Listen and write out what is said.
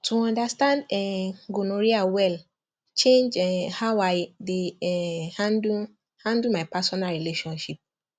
to understand um gonorrhea well change um how i dey um handle handle my personal relationship